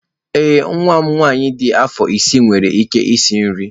Ee, nwa m nwanyị dị afọ isii nwere ike isi nri